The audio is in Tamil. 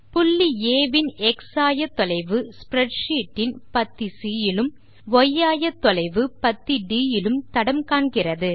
புள்ளி ஆ வின் எக்ஸ் ஆயத்தொலைவு ஸ்ப்ரெட்ஷீட் இன் பத்தி சி இலும் ய் ஆயத்தொலைவு பத்தி ட் இலும் தடம் காண்கிறது